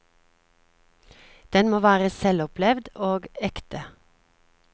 Den må være selvopplevd og ekte.